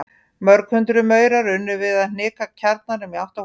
Mörg hundruð maurar unnu við að hnika kjarnanum í átt að holunni.